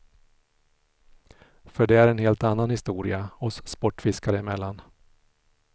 För det är en helt annan historia, oss sportfiskare emellan.